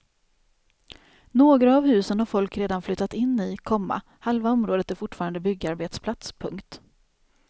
Några av husen har folk redan flyttat in i, komma halva området är fortfarande byggarbetsplats. punkt